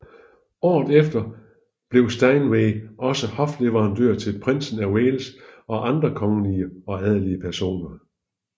Året efter blev Steinway også hofleverandør til Prinsen af Wales og andre kongelige og adelige personer